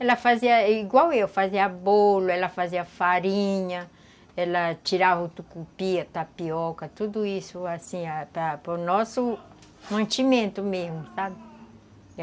Ela fazia igual eu, fazia bolo, ela fazia farinha, ela tirava o tucupi, tapioca, tudo isso assim, para o nosso mantimento mesmo, sabe?